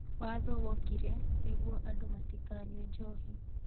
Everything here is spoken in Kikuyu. Watho wokire nĩ guo andũ matikanyue njohi